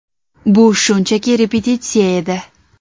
Bu shunchaki repetitsiya edi.